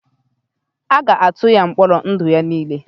A ga-atụ ya mkpọrọ ndụ ya niile?